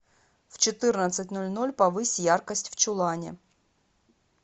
в четырнадцать ноль ноль повысь яркость в чулане